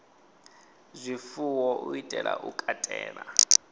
zwifuwo u itela u katela